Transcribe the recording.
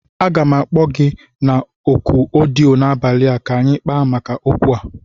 Aga m akpo gi na oku odiyo n'abali a ka anyi kpaa maka okwu a